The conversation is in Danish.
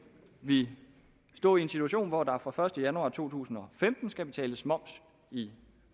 vi stå en situation hvor der fra den første januar to tusind og femten skal betales moms i